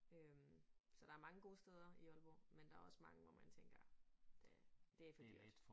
Øh så der mange gode steder i Aalborg men der også mange hvor man tænker. Det for dyrt